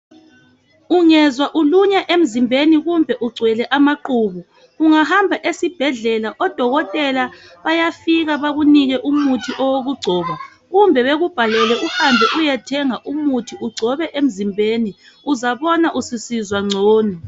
Ungezwa ulunywa emzimbeni kumbe ugcwele amaqhubu ungahamba esibhedlela odokotela bayafika bakunike umuthi owokugcoba kumbe bakubhalele uhambe uyethenga umuthi ugcobe emzimbeni uzabona ususizwa ngcono.